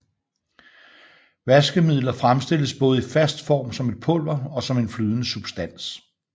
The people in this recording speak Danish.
Vaskemidler fremstilles både i fast form som et pulver og som en flydende substans